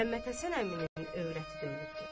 Məhəmməd Həsən əminin övrəti də ölübdür.